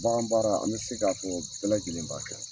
Bagan baara an bɛ se k'a fɔ bɛɛ lajɛlen b'a kɛ.